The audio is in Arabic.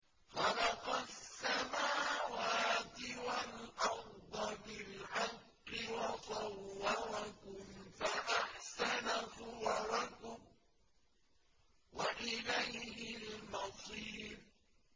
خَلَقَ السَّمَاوَاتِ وَالْأَرْضَ بِالْحَقِّ وَصَوَّرَكُمْ فَأَحْسَنَ صُوَرَكُمْ ۖ وَإِلَيْهِ الْمَصِيرُ